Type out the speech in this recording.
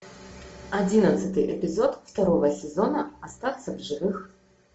одиннадцатый эпизод второго сезона остаться в живых